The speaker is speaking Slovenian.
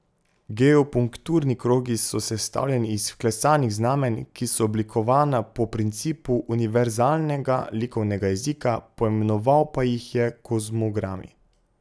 Geopunkturni krogi so sestavljeni iz vklesanih znamenj, ki so oblikovana po principu univerzalnega likovnega jezika, poimenoval pa jih je kozmogrami.